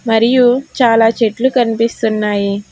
మరియు చాలా చెట్లు కనిపిస్తున్నాయి.